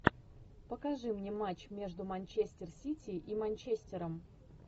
покажи мне матч между манчестер сити и манчестером